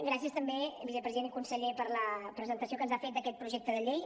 gràcies també vicepresident i conseller per la presentació que ens ha fet d’aquest projecte de llei